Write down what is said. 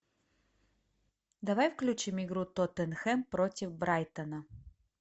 давай включим игру тоттенхэм против брайтона